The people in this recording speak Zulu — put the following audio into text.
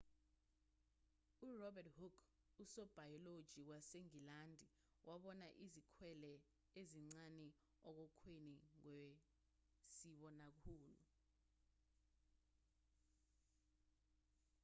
urobert hooke usobhayoloji wasengilandi wabona izikwele ezincane okhokhweni ngesibonakhulu